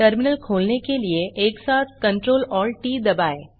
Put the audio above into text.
terminal खोलने के लिए एक साथ CTRLALTT दबाएँ